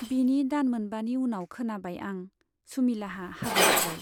बिनि दान मोनबानि उनाव खोनाबाय आं, सुमिलाहा हाबा जाबाय।